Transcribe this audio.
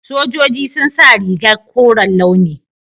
Sojoji sun sa rigar koren launi.